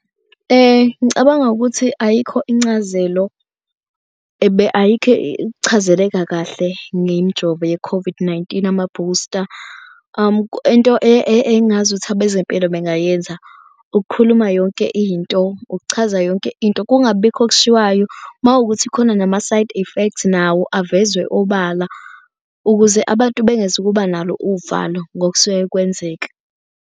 Ngicabanga ukuthi ayikho incazelo ayikho ukuchazeleka kahle ngemijovo ye-COVID-19 amabhusta into engazuthi abezempilo bengayenza ukukhuluma yonke into. Ukuchaza yonke into kungabibikho okushiwayo. Makuwukuthi khona nama-side effects nawo avezwe obala ukuze abantu bengeza ukuba nalo uvalo ngokusuke kwenzeka.